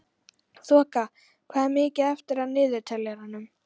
Þoka, hvað er mikið eftir af niðurteljaranum?